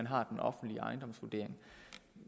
har den offentlige ejendomsvurdering